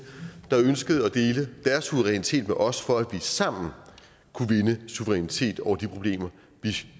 der ønskede at dele deres suverænitet med os for at vi sammen kunne vinde suverænitet over de problemer